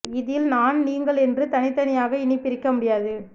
இதில் நான் நீங்கள் என்று தனி தனியாக இனி பிரிக்க முடியாது